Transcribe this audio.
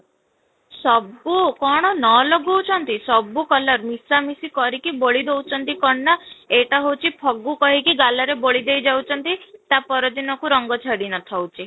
ସବୁ କ'ଣ ନ ଲଗଉ ଛନ୍ତି ସବୁ color ମିଶାମିଶି କରିକି ବୋଲି ଦଉଛନ୍ତି କ'ଣ ନା ଏଇଟା ହଉଛି ଫଗୁ କହିକି ଗଲା ରେ ବୋଲି ଦେଇ ଯାଉଛନ୍ତି ତା ପର ଦିନ କୁ ରଙ୍ଗ ଛାଡି ନ ଥାଉଛି